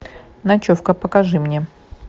ночевка покажи мне